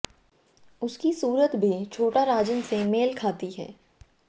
उसकी सूरत भी छोटा राजन से मेल खाती है